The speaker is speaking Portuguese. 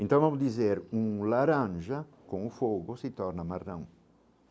Então, vamos dizer, um laranja com o fogo se torna.